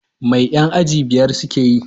Mai yan aji biyar suke yi?